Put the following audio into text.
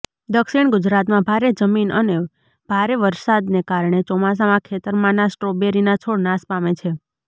દક્ષિણ ગુજરાતમાં ભારે જમીન અને ભારે વરસાદને કારણે ચોમાસામાં ખેતરમાનાં સ્ટ્રોબેરીના છોડ નાશ પામે છે